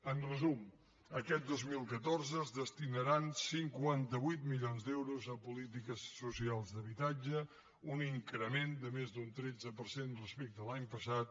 en resum aquest dos mil catorze es destinaran cinquanta vuit milions d’euros a polítiques socials d’habitatge un increment de més d’un tretze per cent respecte a l’any passat